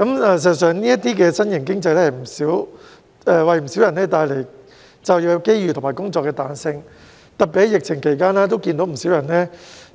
事實上，這種新型經濟為不少人帶來就業機遇和工作彈性，特別在疫情期間，我看到有不少人